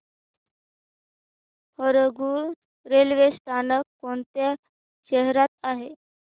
Harangul railway स्थानक कोणत्या शहरात आहे